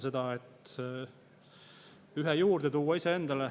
Ühe iseendale juurde tuua.